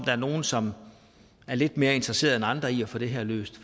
der nogle som er lidt mere interesserede end andre i at få det her løst